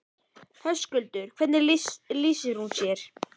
Höskuldur: Hvernig lýsir hún sér?